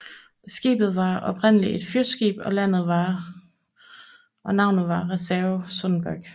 Skibet var oprindeligt et fyrskib og navnet var Reserve Sonderburg